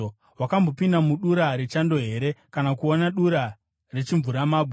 “Wakambopinda mudura rechando here, kana kuona dura rechimvuramabwe,